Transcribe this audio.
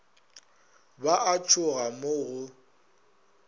ba a tšhoga mo go